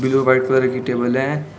Blue white colour की table है।